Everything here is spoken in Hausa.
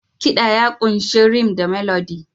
Kiɗa ya ƙunshi rythm da Melody.